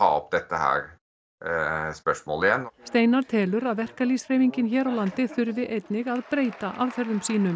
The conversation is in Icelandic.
steinar telur að verkalýðshreyfingin hér á landi þurfi einnig að breyta aðferðum sínum